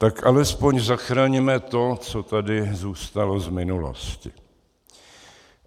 Tak alespoň zachraňme to, co tady zůstalo z minulosti.